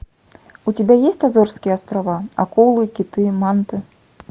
у тебя есть азорские острова акулы киты манты